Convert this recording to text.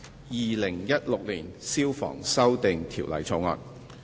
《2016年消防條例草案》。